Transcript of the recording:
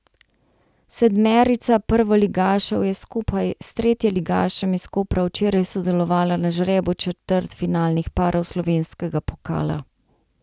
Sedmerica prvoligašev je skupaj s tretjeligašem iz Kopra včeraj sodelovala na žrebu četrtfinalnih parov slovenskega pokala.